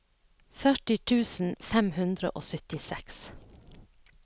førti tusen fem hundre og syttiseks